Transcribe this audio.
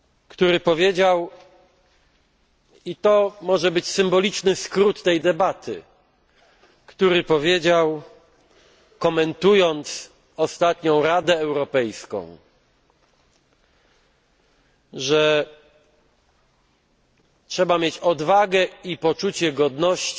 który powiedział i to może być symboliczny skrót tej debaty komentując ostatnią Radę Europejską, że trzeba mieć odwagę i poczucie godności,